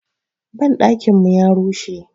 Banɗakin mu ya rushe.